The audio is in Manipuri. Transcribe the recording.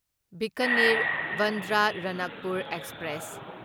ꯕꯤꯀꯅꯤꯔ ꯕꯥꯟꯗ꯭ꯔꯥ ꯔꯥꯅꯛꯄꯨꯔ ꯑꯦꯛꯁꯄ꯭ꯔꯦꯁ